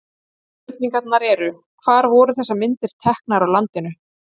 Spurningarnar eru: Hvar voru þessar myndir teknar á landinu?